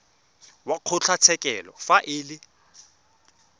wa kgotlatshekelo fa e le